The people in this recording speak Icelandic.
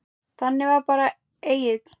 Þannig var bara Egill.